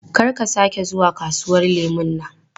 Don't ever go to that orange market again!